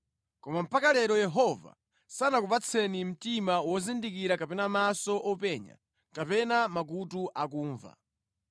Koma mpaka lero Yehova sanakupatseni mtima wozindikira kapena maso openya kapena makutu akumva.